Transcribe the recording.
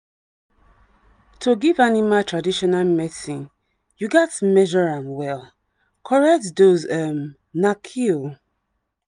to give animal traditional medicine you gats measure am well — correct dosage um na key. um